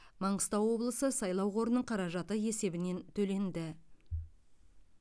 маңғыстау облысы сайлау қорының қаражаты есебінен төленді